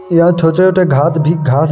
यहाँ छोटे-छोटे घास भी घास